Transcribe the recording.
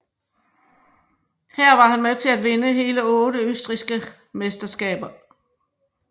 Her var han med til at vinde hele otte østrigske mesterskaber